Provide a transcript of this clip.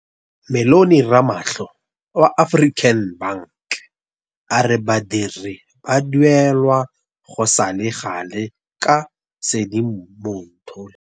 Mellony Ramalho wa African Bank a re badiri ba duelwa go sale gale ka Sedimonthole.